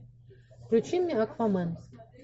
включи мне аквамен